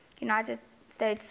united states civil